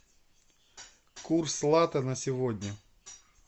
курс лата на сегодня